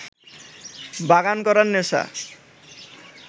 বাগান করার নেশা